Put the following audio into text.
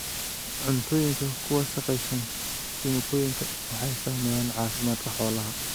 Cuntooyinka ku wasakhaysan kiimikooyinka waxay saameeyaan caafimaadka xoolaha.